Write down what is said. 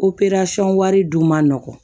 wari dun ma nɔgɔn